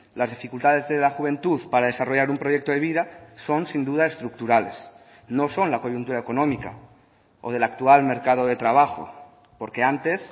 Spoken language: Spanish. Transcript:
las dificultades de la juventud para desarrollar un proyecto de vida son sin duda estructurales no son la coyuntura económica o del actual mercado de trabajo porque antes